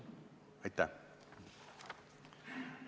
Aitäh!